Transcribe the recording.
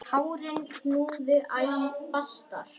Tárin knúðu æ fastar á.